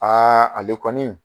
ale kɔni